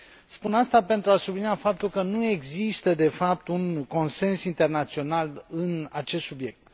Spun aceasta pentru a sublinia faptul că nu există de fapt un consens internațional pe acest subiect.